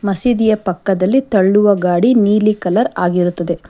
ಮಸೀದಿಯ ಪಕ್ಕ ತಳ್ಳುವ ಗಾಡಿ ನೀಲಿ ಕಲರ್ ಆಗಿರುತ್ತದೆ.